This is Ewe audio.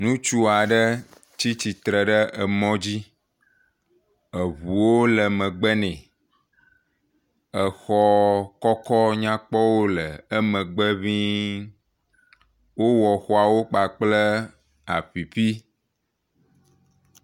Ŋutsu aɖe tsi tsitre ɖe mɔdzi. Eʋuwo le megbe nɛ. Exɔ kɔkɔ nyakpɔwo le emegbe ʋiĩ. Wowɔ xɔawo kpa kple apipi.